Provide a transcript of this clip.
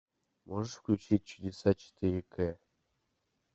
можешь включить чудеса четыре к